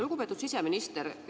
Lugupeetud siseminister!